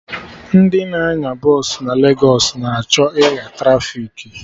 Ndị na-anya bọsụ na Legos na achọ ịgha trafiki